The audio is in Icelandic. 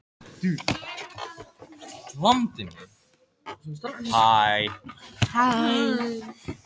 Þá hló hún og upplýsti málið, ég gapti.